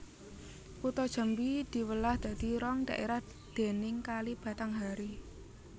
Kutha Jambi diwelah dadi rong dhaérah déning Kali Batanghari